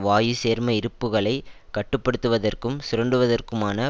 வாயு சேர்ம இருப்புக்களை கட்டு படுத்துவதற்கும் சுரண்டுவதற்குமான